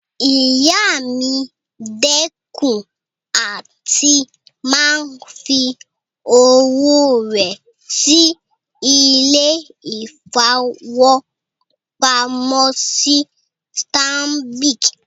Ìyá mi dẹ́kun àti máa fi owó rẹ̀ sí ilé-ìfowópamọ́sí Stanbic